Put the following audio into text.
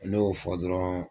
Ne y'o fɔ dɔrɔn